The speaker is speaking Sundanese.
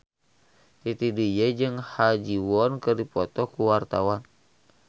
Titi DJ jeung Ha Ji Won keur dipoto ku wartawan